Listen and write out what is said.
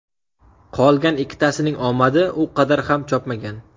Qolgan ikkitasining omadi u qadar ham chopmagan.